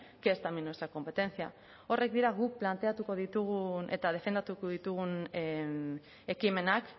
que es también nuestra competencia horiek dira guk planteatuko ditugun eta defendatuko ditugun ekimenak